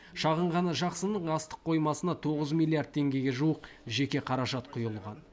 шағын ғана жақсының астық қоймасына тоғыз миллиард теңгеге жуық жеке қаражат құйылған